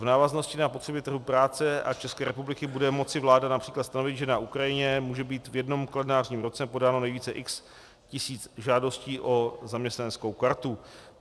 V návaznosti na potřeby trhu práce a České republiky bude moci vláda například stanovit, že na Ukrajině může být v jednom kalendářním roce podáno nejvíce x tisíc žádostí o zaměstnaneckou kartu.